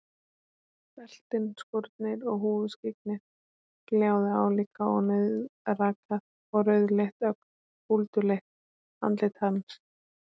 Beltin, skórnir og húfuskyggnið gljáðu álíka og nauðrakað og rauðleitt, ögn búlduleitt andlit hans.